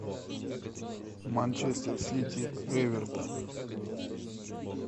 манчестер сити эвертон